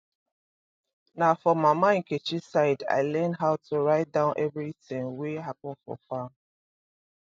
na for mama nkechi side i learn how to write down everything wey happen for farm